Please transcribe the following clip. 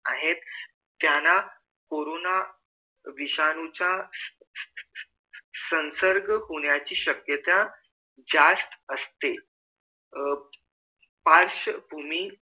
आहेत त्यांना कोरोना विषाणू चा संसर्ग होण्याची शक्यता जास्त असते अह पार्श्वभूमी